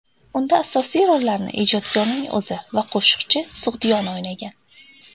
Unda asosiy rollarni ijodkorning o‘zi va qo‘shiqchi Sug‘diyona o‘ynagan.